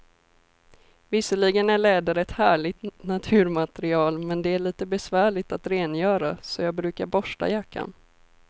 Visserligen är läder ett härligt naturmaterial, men det är lite besvärligt att rengöra, så jag brukar borsta jackan.